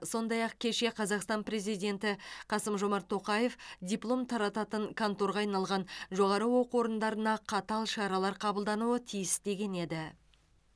сондай ақ кеше қазақстан президенті қасым жомарт тоқаев диплом тарататын конторға айналған жоғары оқу орындарына қатал шаралар қабылдануы тиіс деген еді